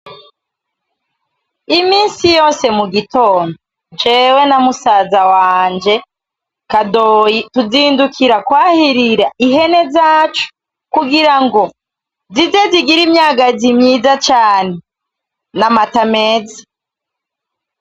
Iminsi yose mugitondo jewe na musaza wanje kadoyi tuzindukira kwahirira ihene zacu kugirango zize zigire imyagazi myiza cane n'amata meza.